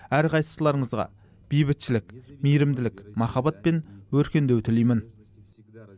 әрқайсыларыңызға бейбітшілік мейірімділік махаббат пен өркендеу тілеймін